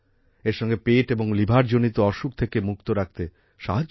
এর সঙ্গে পেট এবং লিভারজনিত অসুখ থেকে মুক্ত রাখতে সাহায্য করে